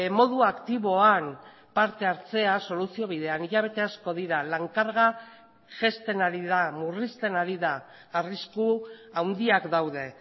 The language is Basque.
modua aktiboan parte hartzea soluzio bidean hilabete asko dira lan karga jaisten ari da murrizten ari da arrisku handiak daude